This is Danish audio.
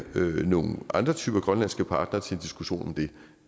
nogle andre typer grønlandske partnere til en diskussion om det